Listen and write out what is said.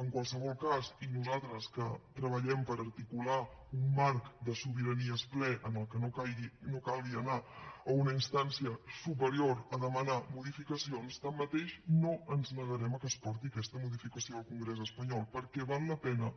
en qualsevol cas i nosaltres que treballem per articular un marc de sobiranies ple en què no calgui anar a una instància superior a demanar modificacions tanmateix no ens negarem a que es porti aquesta modificació al congrés espanyol perquè val la pena